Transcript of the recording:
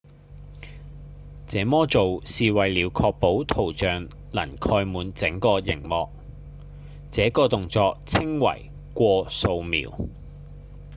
這麼做是為了確保圖像能蓋滿整個螢幕這個動作稱為「過掃描」